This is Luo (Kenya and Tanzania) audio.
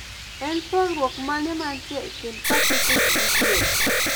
En pogruok mane mantie e kind Pasifik gi Diere